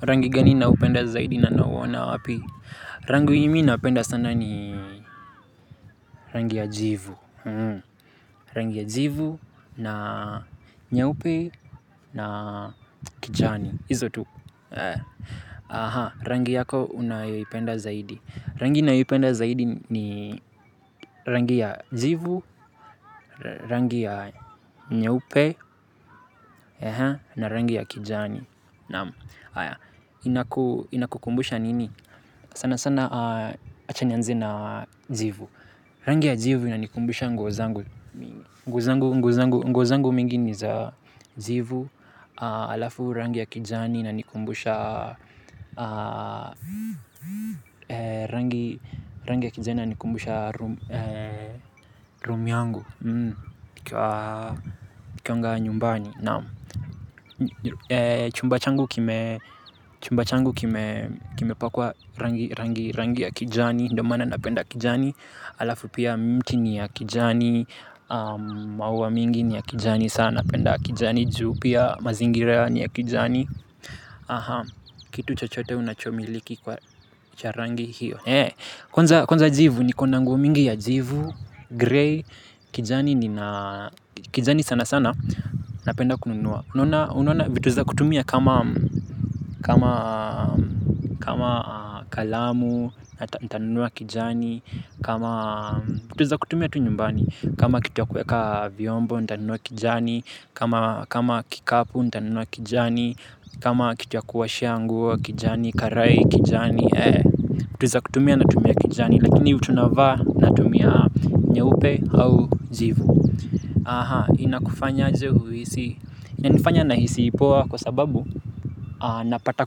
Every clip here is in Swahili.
Rangi gani ninaupenda zaidi na nauona wapi? Rangi yenye mi napenda sana ni rangi ya jivu. Rangi ya jivu na nyeupe na kijani. Hizo tu. Rangi yako unayoipenda zaidi. Rangi ninayoipenda zaidi ni rangi ya jivu, rangi ya nyeupe na rangi ya kijani naam haya. Inakukumbusha nini? Sana sana acha nianze na jivu. Rangi ya jivu inanikumbusha nguo zangu mingi. Nguo zangu nguo zangu mingi ni za jivu halafu rangi ya kijani inanikumbusha rangi ya kijani inanikumbusha room yangu nikiwanga nyumbani naam. Chumba changu kime chumba changu kime kimepakwa rangi rangi rangi ya kijani ndio maana napenda kijani halafu pia mti ni ya kijani. Maua mingi ni ya kijani sa napenda kijani. Juu pia mazingira ni ya kijani. Kitu chochote unachomiliki kwa cha rangi hiyo. Kwanza kwanza jivu niko na nguo mingi ya jivu Grey. Kijani nina kijani sana sana. Napenda kununua unaona unaona vitu za kutumia kama kama kama kalamu. Nitanunua kijani. Kama vitu za kutumia tu nyumbani. Kama kitu ya kuweka vyombo, nitanunua kijani. Kama kikapu, nitanunua kijani. Kama kitu ya kuoshea nguo kijani, karai kijani vitu za kutumia natumia kijani. Lakini vitu navaa natumia nyeupe au jivu. Inakufanyaje uhisi. Inanifanya nahisi poa kwa sababu napata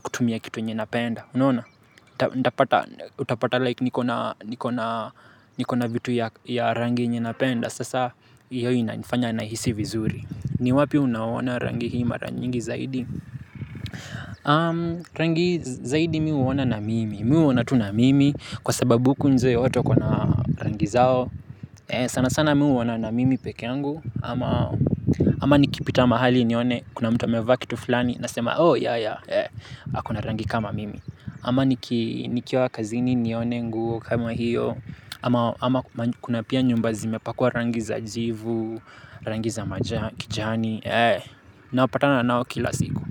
kutumia kitu yenye napenda unaona, ntapata utapata like niko na niko na niko na vitu ya rangi yenye napenda sasa hiyo inanifanya nahisi vizuri. Ni wapi unaona rangi hii mara nyingi zaidi? Rangi zaidi mi huona na mimi Mi huona tu na mimi kwa sababu huku nje watu wako na rangi zao sana sana mi huona na mimi peke yangu ama ama nikipita mahali nione kuna mtu amevaa kitu flani nasema oh ya ya, ako na rangi kama mimi ama nikiwa kazini nione nguo kama hiyo ama kuna pia nyumba zimepakwa rangi za jivu, rangi za kijani napatana nao kila siku.